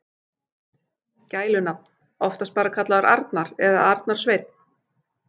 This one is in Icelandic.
Gælunafn: Oftast bara kallaður Arnar eða Arnar Sveinn.